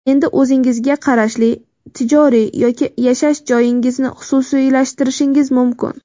Endi o‘zingizga qarashli tijoriy yoki yashash joyingizni xususiylashtirishingiz mumkin.